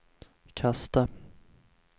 kasta